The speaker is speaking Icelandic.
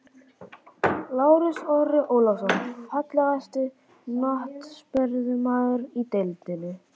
Lárus Orri Ólafsson Fallegasti knattspyrnumaðurinn í deildinni?